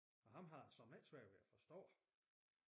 Og ham havde jeg såmænd ikke svært ved at forstå